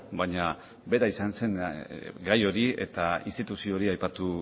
baina bera izan zen gai hori eta instituzio hori aipatu